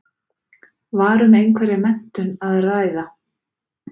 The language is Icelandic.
Var um einhverja menntun að ræða?